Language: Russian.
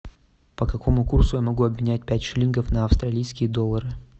по какому курсу я могу обменять пять шиллингов на австралийские доллары